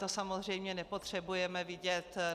To samozřejmě nepotřebujeme vidět.